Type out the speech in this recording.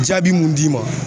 Jaabi mun d'i ma